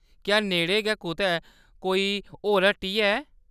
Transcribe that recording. क्या नेड़ै गै कुतै कोई होर हट्टी है ?